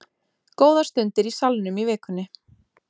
Góðar stundir í Salnum í vikunni